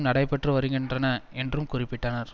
நடைபெற்று வருகின்றன என்றும் குறிப்பிட்டனர்